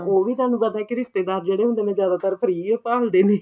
ਉਹ ਵੀ ਤੁਹਾਨੂੰ ਪਤਾ ਕੀ ਰਿਸ਼ਤੇਦਾਰ ਜਿਹੜੇ ਹੁੰਦੇ ਨੇ ਜਿਆਦਾਤਰ free ਓ ਭਾਲਦੇ ਨੇ